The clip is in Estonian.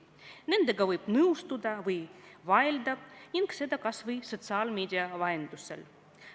Nendega võib nõustuda või vaielda ning teha seda kas või sotsiaalmeedia vahendusel.